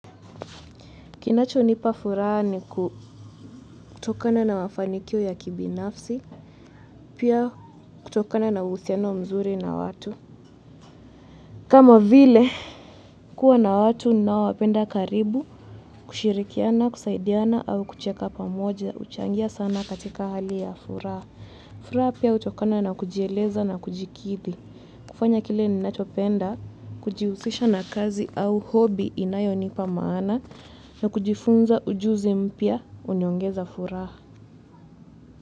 Kinacho nipa furaha ni kutokana na mafanikio ya kibinafsi, pia kutokana na uhusiano mzuri na watu. Kama vile, kuwa na watu ninaowapenda karibu, kushirikiana, kusaidiana, au kucheka pamoja, huchangia sana katika hali ya furaha. Furaha pia hutokana na kujieleza na kujikidhi. Kufanya kile ninachopenda, kujihusisha na kazi au hobi inayo nipa maana, na kujifunza ujuzi mpya, huniongeza furaha.